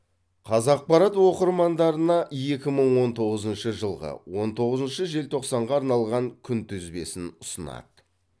қазақпарат оқырмандарына екі мың он тоғызыншы жылғы он тоғызыншы желтоқсанға арналған күнтізбесін ұсынады